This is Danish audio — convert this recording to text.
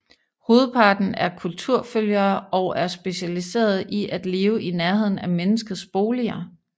Hovedparten er kulturfølgere og er specialiserede i at leve i nærheden af menneskets boliger